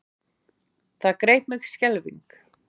Það greip mig skelfing.